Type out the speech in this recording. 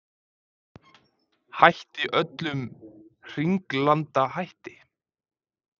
Hætti öllum hringlandahætti